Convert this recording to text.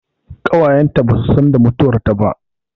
Ƙawayen ta ba su san da mutuwar ta ba